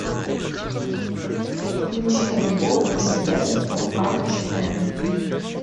включи альбом зе бест оф арчи эм